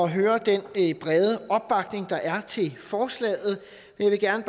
høre den brede opbakning der er til forslaget jeg vil gerne